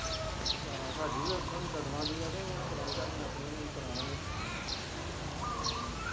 ਹਾਂ ਸਾਡੀ ਵੀ ਉੱਥੋਂ ਦੀ ਦੀ ਹੈ ਤੇ ਉਹ ਕਰਾਉਣੀ ਪੈਣੀ ਹੈ ਆਪਣੀ ਵੀ ਜਦੋਂ ਕਰਾਵਾਂਗੇ ਹਮ